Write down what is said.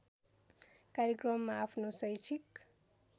कार्यक्रममा आफ्नो शैक्षिक